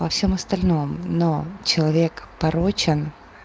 во всём остальном но человек порочен